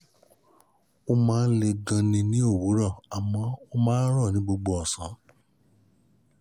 Ó máa ń le gan-an ní òwúrọ̀, àmọ́ ó máa ń rọ̀ ní gbogbo ọ̀sán